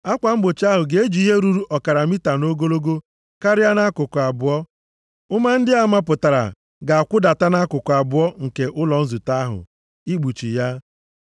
Akwa mgbochi ahụ ga-eji ihe ruru ọkara mita nʼogologo karịa nʼakụkụ abụọ. Ụma ndị a mapụtara ga-akwụdata nʼakụkụ abụọ nke ụlọ nzute ahụ ikpuchi ya.